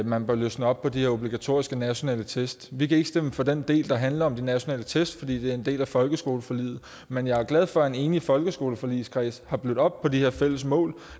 man bør løsne op på de her obligatoriske nationale test vi kan ikke stemme for den del der handler om de nationale test fordi det er en del af folkeskoleforliget men jeg er glad for at en enig folkeskoleforligskreds har blødt op på de her fælles mål